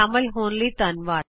ਸ਼ਾਮਲ ਹੋਣ ਲਈ ਧੰਨਵਾਦ